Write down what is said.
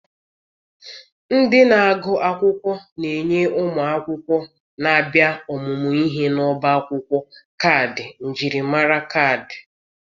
Ndị na-agụ akwụkwọ na-enye ụmụ akwụkwọ na-abịa ọmụmụ ihe n'ọbá akwụkwọ kaadị njirimara kaadị.